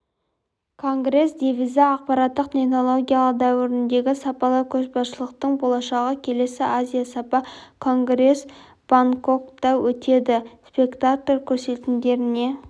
конгресс девизі ақпараттық технологиялар дәуіріндегі сапалы көшбасшылықтың болашағы келесі азия сапа конгресі бангкокта өтеді спектакль көрсетілімдеріне